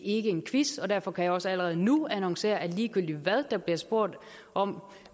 ikke en quiz derfor kan jeg også allerede nu annoncere at ligegyldigt hvad der bliver spurgt om